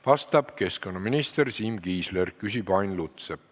Vastab keskkonnaminister Siim Kiisler, küsib Ain Lutsepp.